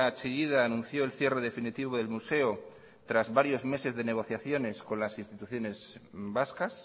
chillida anunció el cierre definitivo del museo tras varios meses de negociaciones con las instituciones vascas